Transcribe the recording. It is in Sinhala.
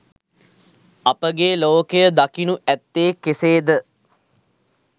අපගේ ලෝකය දකිනු ඇත්තේ කෙසේද?